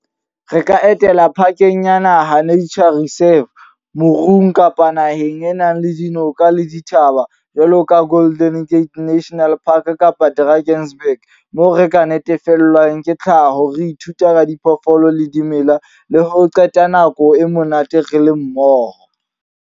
Re ka etela park-eng ya naha Nature Reserve. Moruong kapa naheng e nang le dinoka le dithaba, jwalovka Golden Gate National Park kapa Drakensberg. Moo re ka natefelwang ke tlhaho. Re ithuta ka diphoofolo le dimela. Le ho qeta nako e monate re le mmoho.